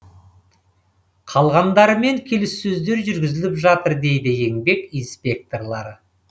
қалғандарымен келіссөздер жүргізіліп жатыр дейді еңбек инспекторлары